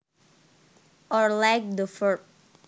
or like the verb